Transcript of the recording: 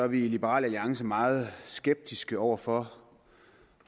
vi i liberal alliance meget skeptiske over for